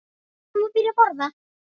Hvenær má byrja að borða?